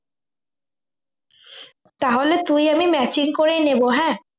তাহলে তুই আমি matching করে নেব হ্যাঁ